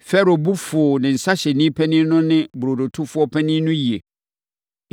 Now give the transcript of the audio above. Farao bo fuu ne nsãhyɛfoɔ panin no ne ne burodotofoɔ panin no yie.